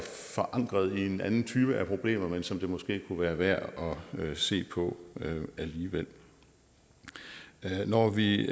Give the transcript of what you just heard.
forankret i en anden type af problemer men som det måske kunne være værd at se på alligevel når vi